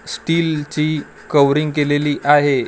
स्टीलची कव्हरिंग केलेली आहे .